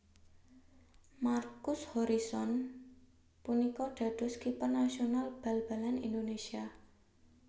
Markus Horison punika dados kiper nasional bal balan Indonésia